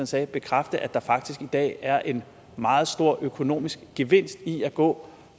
sagde bekræfte at der faktisk i dag er en meget stor økonomisk gevinst i at gå